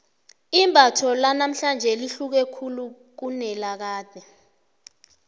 imbatho lanamhlanje lihluke khulu kunelakade